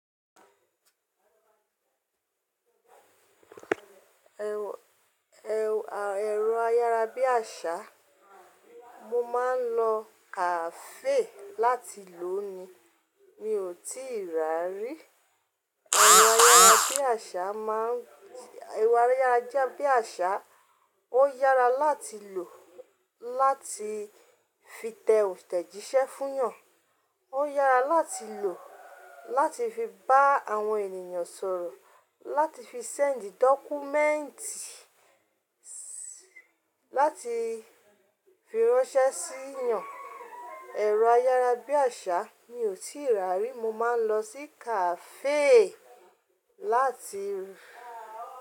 Ẹ̀rọ ayárabíàṣá, mo máa ń lọ kafe láti lò ó ni, mi ò tíì ra rí. Ẹ̀rọ ayárabíàṣá má ẹ̀rọ ayárabíàṣá ó yára láti lò láti fi tẹ òntẹ̀jíṣẹ́ fún yàn, ó yára láti lò láti fi bá àwọn ènìyàn sọ̀rọ̀, láti fi send dọ́kúmẹ́ǹtì, láti fi ránṣẹ́ sí yàn. Ẹ̀rọ ayárabíàṣá mi ò tíì ra rí, mo máa ń lọ sí kafe láti.